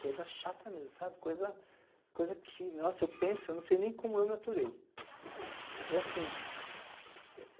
Coisa chata mesmo, sabe? coisa coisa que nossa eu penso e não sei nem como eu me aturei. E assim,